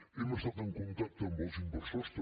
hem estat en contacte amb els inversors també